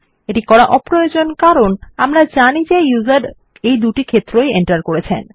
এটি করা অপ্রয়োজনীয় কারণ আমরা জানি ব্যবহারি এই দুটি ক্ষেত্র ই এন্টার করেছেন